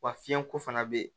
Wa fiɲɛko fana be yen